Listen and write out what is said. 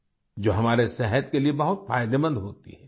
जो हमारे सेहत के लिए बहुत फायदेमंद होती हैं